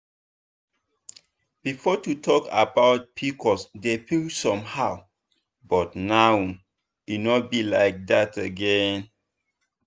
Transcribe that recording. before to talk about pcos dey feel somehow but now e no be like that again.